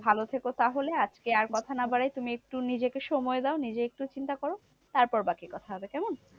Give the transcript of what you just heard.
ভালো থেকো তাহলে? আজকে আর কথা না বাড়াই তুমি একটু নিজেকে সময় দাও। নিজের একটু চিন্তা করো। তারপর বাকি কথা হবে কেমন?